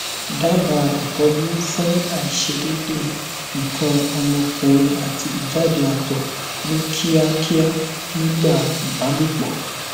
daba itọju fun aisedede ikan omokunrin ati ijade ato ni kiakia nigba ibalopo